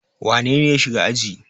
Wane ne ya shiga aji?